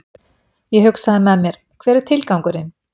Ég hugsað með mér, hver er tilgangurinn?